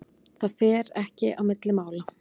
Það fer ekki á milli mála.